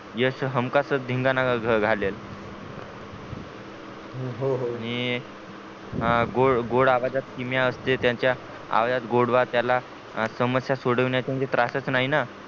यश हमखासचं धिगाणा घालेल हो हो आणि गोड गोड आवाजात किमया असते ज्यांच्या आवाजात गोडवा त्या ला समस्या सोडवायचा म्हणजे त्रास चा नाही ना